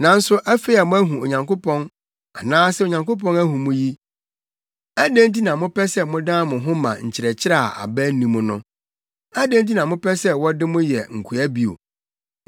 Nanso afei a moahu Onyankopɔn anaasɛ Onyankopɔn ahu mo yi, adɛn nti na mopɛ sɛ modan mo ho ma nkyerɛkyerɛ a aba nni mu no? Adɛn nti na mopɛ sɛ wɔde mo yɛ nkoa bio?